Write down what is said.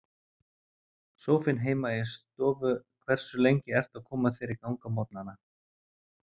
Sófinn heima í stofu Hversu lengi ertu að koma þér í gang á morgnanna?